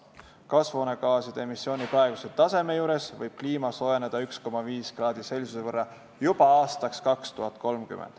Kasvuhoonegaaside emissiooni praeguse taseme juures võib kliima soojeneda 1,5 ºC võrra juba aastaks 2030.